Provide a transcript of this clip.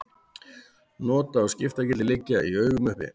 Nota- og skiptagildi liggja í augum uppi.